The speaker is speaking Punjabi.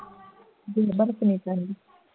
ਕਹਿੰਦੀ